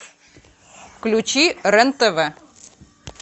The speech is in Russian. включи рен тв